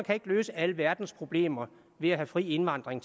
kan løse alle verdens problemer ved at have fri indvandring